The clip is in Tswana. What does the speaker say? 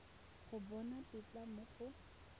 go bona tetla mo go